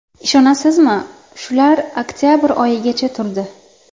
Ishonasizmi, shular oktabr oyigacha turdi.